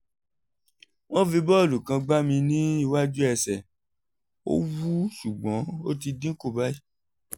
wọ́n fi bọ́ọ̀lù kan gbá mi ní iwájú ẹsẹ̀; ó wú ṣùgbọ́n ó ti dínkù báyìí